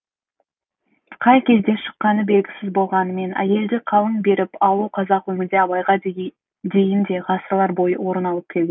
қай кезде шыққаны белгісіз болғанымен әйелді қалың беріп алу қазақ өмірінде абайға дейін де ғасырлар бойы орын алып келген